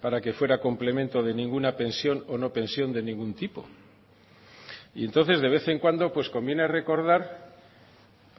para que fuera complemento de ninguna pensión o no pensión de ningún tipo y entonces de vez en cuando conviene recordar